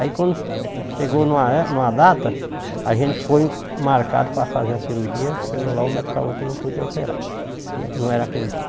Aí quando chegou numa é numa data, a gente foi marcado para fazer a cirurgia, chegou lá, o médico falou que não podia operar, que não era aquele dia.